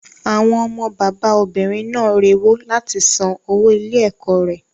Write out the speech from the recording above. Àwọn ọmọ bàbá obìnrin náà rewó láti san owó ilé ẹ̀kọ́ rẹ̀.